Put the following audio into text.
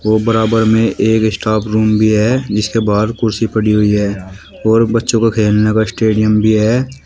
और बराबर में एक स्टाफ रूम भी है जिसके बाहर कुर्सी पड़ी हुई है और बच्चों के खेलने का स्टेडियम भी है।